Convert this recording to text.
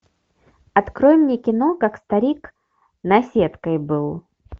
открой мне кино как старик наседкой был